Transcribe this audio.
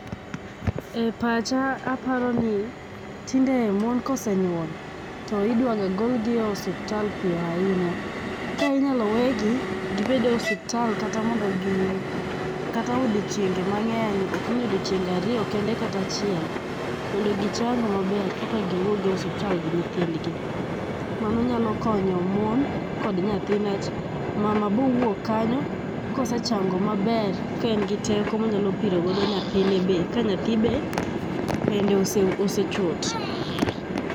E pacha aparoni tinde mon kosenyuol to idwaga gol gi e osiptal piyo ahinya. Ka inyalo wegi gibed e osiptal kata mondo gi, kata odiochienge mang'eny okni odiochienge ariyo kende kata achiel mondo gichang maber koka giwyuog e osiptal gi nyithindgi. Mano nyalo konyo mon kod nyathi nikwach mama bowuok kanyo kosechango maber kaen gi teko monyalo piro go nyathine be, ka nyathi be pende osechot